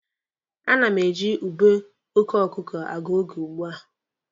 A na m eji ube oke ọkụkụ agụ oge ugbua.